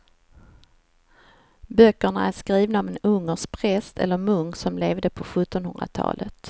Böckerna är skrivna av en ungersk präst eller munk som levde på sjuttonhundratalet.